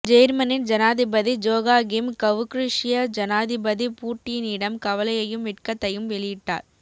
ஜேர்மனின் ஜனாதிபதி Joachim Gauck ருஷ்ய ஜனாதிபதி பூட்டீனிடம் கவலையையும் வெட்கத்தையும் வெளியிட்டார்